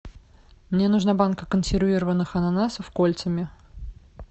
мне нужна банка консервированных ананасов кольцами